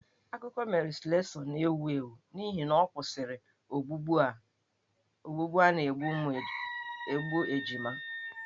Akụkọ Mary Slessor na-ewi ewi n'ihi na ọ kwụsịrị ogbugbu a na-egbu ejima.